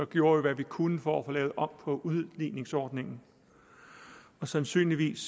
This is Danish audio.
gjorde vi hvad vi kunne for at få lavet om på udligningsordningen og sandsynligvis